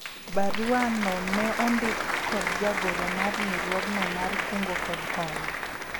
barua no ne ondik kod jagoro mar riwruogno mar kungo kod hola